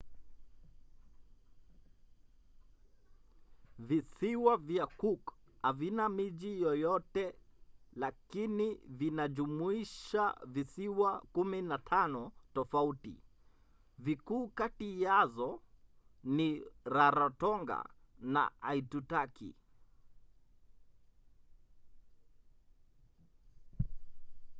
visiwa vya cook havina miji yoyoyte lakini vinajumuisha visiwa 15 tofauti. vikuu kati yazo ni rarotonga na aitutaki